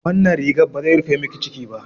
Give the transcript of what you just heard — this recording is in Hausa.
Wannan rigar ba zai rufe miki ciki ba.